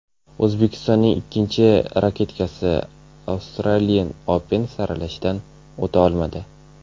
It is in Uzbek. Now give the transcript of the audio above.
O‘zbekistonning ikkinchi raketkasi Australian Open saralashidan o‘ta olmadi.